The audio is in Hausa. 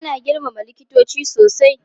Ana girmama likitoci sosai.